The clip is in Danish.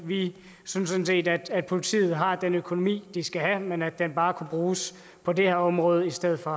vi synes sådan set at politiet har den økonomi de skal have men at den bare kunne bruges på det her område i stedet for